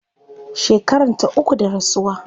Shekaranta uku da rasuwa